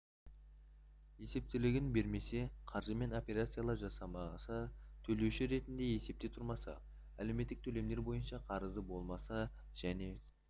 есептілігін бермесе қаржымен операциялар жасамаса төлеуші ретінде есепте тұрмаса әлеуметтік төлемдер бойынша қарызы болмаса және